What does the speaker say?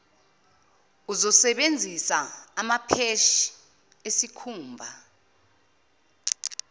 uzosebenzisa amapheshi esikhumba